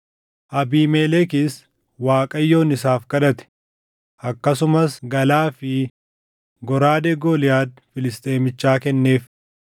Abiimelekis Waaqayyoon isaaf kadhate; akkasumas galaa fi goraadee Gooliyaad Filisxeemichaa kenneef.”